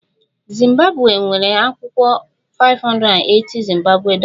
Zimbabwe nwere akwụkwọ 580- zimbabwe dollar